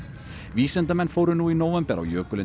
vísindamenn fóru nú í nóvember á jökulinn